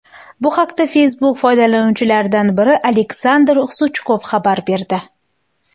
Bu haqda Facebook foydalanuvchilaridan biri Aleksandr Suchkov xabar berdi .